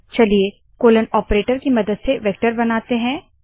चलिए colon operator की मदद से वेक्टर बनाते है